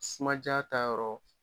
Sumaja ta yɔrɔ